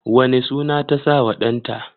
wane suna ta sa wa ɗan ta?